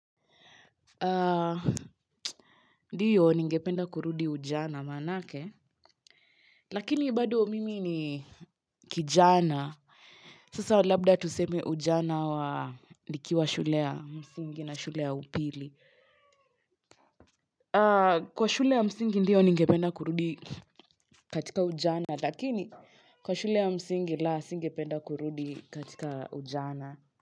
Ndio ningependa kurudi ujana maanake. Lakini bado mimi ni kijana. Sasa labda tuseme ujana wa nikiwa shule ya msingi na shule ya upili. Kwa shule ya msingi ndio ningependa kurudi katika ujana. Lakini kwa shule ya msingi la, singependa kurudi katika ujana.